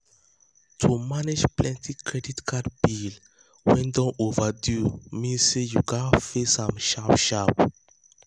to manage plenty credit card bills wey don overdue mean say you gats face am sharp sharp.